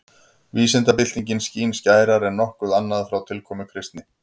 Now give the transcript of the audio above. Vísindabyltingin skín skærar en nokkuð annað frá tilkomu kristni.